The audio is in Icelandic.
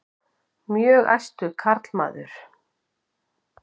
Mjög æstur karlmaður.